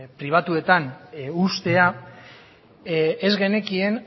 pribatuetan uztea ez genekien